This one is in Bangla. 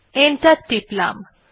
এন্টার টিপলাম